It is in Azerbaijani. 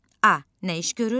A nə iş görür?